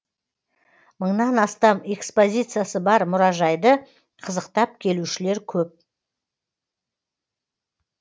мыңнан астам экспозициясы бар мұражайды қызықтап келушілер көп